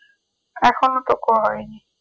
এখনো তো কই হয়নি